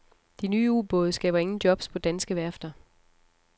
De nye ubåde skaber ingen jobs på danske værfter.